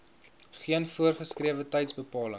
geen voorgeskrewe tydsbepaling